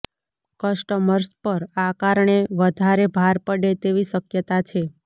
customers પર આ કારણે વધારે ભાર પડે તેવી શક્યતા છે